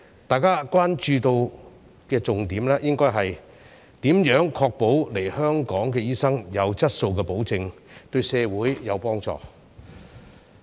大家關注的重點，應該是如何確保來港醫生的質素，對社會有幫助。